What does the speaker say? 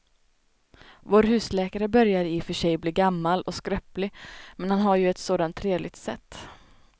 Vår husläkare börjar i och för sig bli gammal och skröplig, men han har ju ett sådant trevligt sätt!